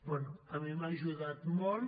bé a mi m’ha ajudat molt